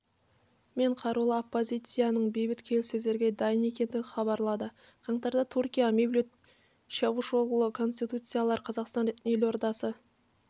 мен қарулы оппозицияның бейбіт келіссөздерге дайын екендігін хабарлады қаңтарда түркия мевлют чавушоглу консультациялар қазақстан елордасы